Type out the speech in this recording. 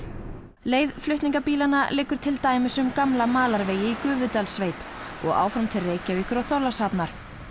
leið flutningabílanna liggur til dæmis um gamla malarvegi í Gufudalssveit og áfram til Reykjavíkur og Þorlákshafnar